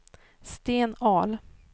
Sten Ahl